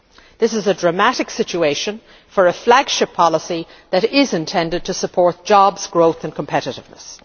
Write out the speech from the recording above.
This is a dramatic situation for a flagship policy that is intended to support jobs, growth and competitiveness.